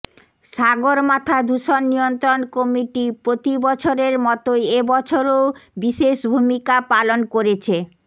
সাগরমাথা দূষণ নিয়ন্ত্রণ কমিটি প্রতি বছরের মতোই এ বছরও বিশেষ ভূমিকা পালন করেছে